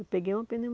Eu peguei uma